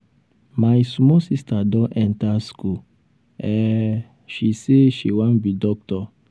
my small sister don enta school um she um sey she wan be doctor. um